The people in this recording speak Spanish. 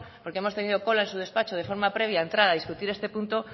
porque hemos tenido cola en su despacho de forma previa a entrar y discutir este punto